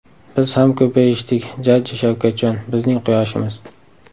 Biz ham ko‘payishdik jajji Shavkatjon, bizning quyoshimiz.